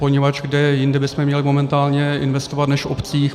Poněvadž kde jinde bychom měli momentálně investovat než v obcích?